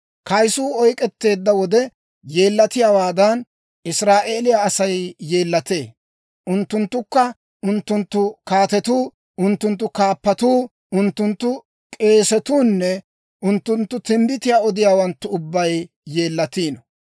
«Kayisuu oyk'k'etteedda wode yeellatiyaawaadan, Israa'eeliyaa Asay yeellatee; unttunttukka, unttunttu kaatetuu, unttunttu kaappatuu, unttunttu k'eesatuu nne unttunttu timbbitiyaa odiyaawanttu ubbay yeellatiino.